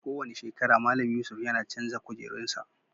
Ko wani shekara, Mallam Yusuf yana chanzar kujerun sa.